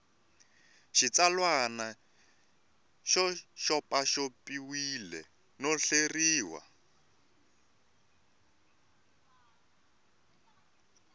xitsalwana xi xopaxopiwile no hleriwa